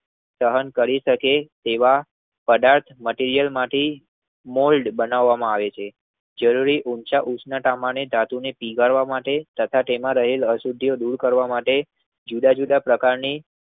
સહન કરી શકે એવા પદાર્થ માંથી મટીરીયલ માંથી મોલ્ડ બનાવામાં આવે છે. જળવી ઉંચા તમની ધાતુ ને પીગળવા માટે તથા તેમાં રહેલ અસુધ્ધયોને દૂર કરવા માટે જુદા જુદા પ્રકારની